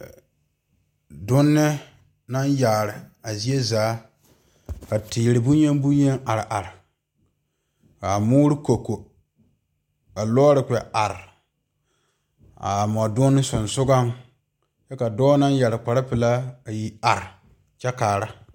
Donne naŋ kyaare pa zie zaa ka teere bonyen bonyen are are ka a moore ko ko ka lɔɔre kpɛ are kaa mɔdonne sonsoŋa kyɛ ka dɔɔ naŋ yɛrɛ kpar pelaa a yi te are kyɛ kaara